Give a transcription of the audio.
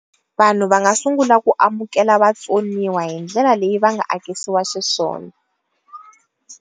Vanhu va nga sungula ku amukela vatsonaniwa hindlela leyi va nga akisiwa xiswona.